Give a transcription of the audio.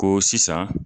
Ko sisan